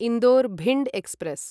Indore Bhind express